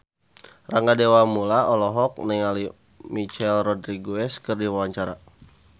Rangga Dewamoela olohok ningali Michelle Rodriguez keur diwawancara